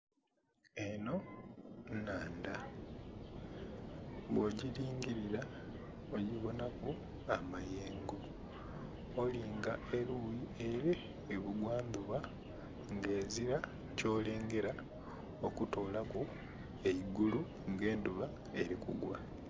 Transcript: Enho nnhandha, bwogilingilila ogibonhaku amayengo, olinga eluyi ele ebugwa ndhuba nga ezila kyolengela okutolaku eigulu nga endhuba eli kugwa.